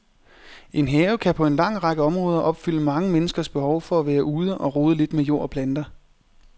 En have kan på en lang række områder opfylde mange menneskers behov for at være ude og rode lidt med jord og planter.